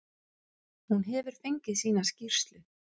Hún hefur fengið sína skýrslu.